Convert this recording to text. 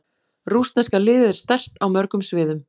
Rússneska liðið er sterkt á mörgum sviðum.